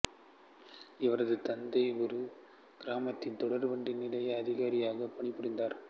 இவரது தந்தை ஒரு கிராமத்தில் தொடர் வண்டி நிலைய அதிகாரியாக பணிபுரிந்தார்